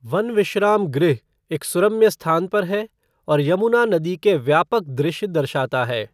One विश्राम गृह एक सुरम्य स्थान पर है और यमुना नदी के व्यापक दृश्य दर्शाता है।